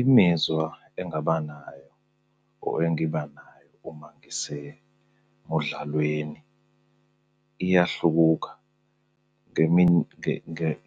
Imizwa engingaba nayo or engibanayo uma ngisemudlalweni iyahluka.